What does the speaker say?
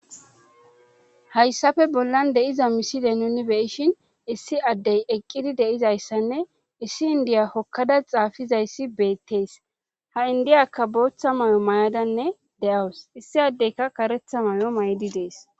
hayssafe bollan de7iza miside nuni beyishin issi addey eqqidi de7izayssanne issi indiya hokkada xaafizayssi beettees ha indiyakka booththa may7o mayadanne de7awus issi addeyka karetha may7o maydi dees